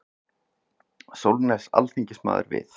Sólnes alþingismaður við.